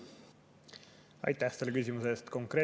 Aitäh selle küsimuse eest!